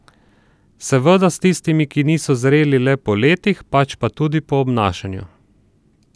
Seveda s tistimi, ki niso zreli le po letih, pač pa tudi po obnašanju.